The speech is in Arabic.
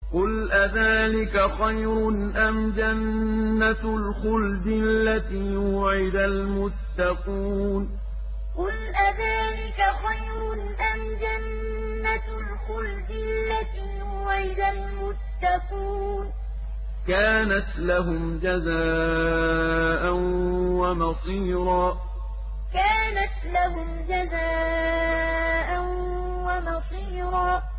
قُلْ أَذَٰلِكَ خَيْرٌ أَمْ جَنَّةُ الْخُلْدِ الَّتِي وُعِدَ الْمُتَّقُونَ ۚ كَانَتْ لَهُمْ جَزَاءً وَمَصِيرًا قُلْ أَذَٰلِكَ خَيْرٌ أَمْ جَنَّةُ الْخُلْدِ الَّتِي وُعِدَ الْمُتَّقُونَ ۚ كَانَتْ لَهُمْ جَزَاءً وَمَصِيرًا